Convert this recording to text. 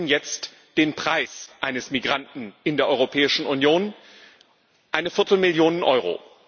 Wir kennen jetzt den Preis eines Migranten in der Europäischen Union eine Viertelmillion Euro.